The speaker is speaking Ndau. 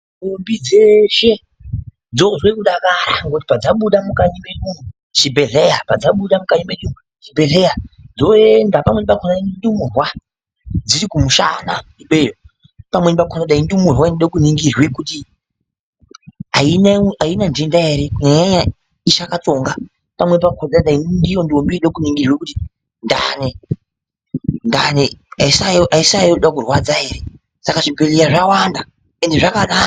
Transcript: Ndombi dzeshe dzozwe kudakara ngokuti padzabuda mukati medu umo chibhedhlera padzabuda mukati mechibhedhlera dzoenda pamweni pakona ndumurwa dziri kumushana ikweyo pamweni pakona dai ndumurwa inoda kuningirwa kuona kuti aina ndenda ere kunyanya nyanya ichakanzonga pamweni pakona dai ndiyo ndombi irikuda kuningirwa kuti ndani, ndani aisayoda kurwadza ere Saka chibhedhlera zvawanda ende zvakanaka.